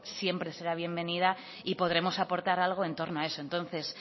siempre será bienvenido y podremos aportar algo en torno a eso entonces